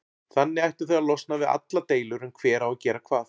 Þannig ættuð þið að losna við allar deilur um hver á að gera hvað.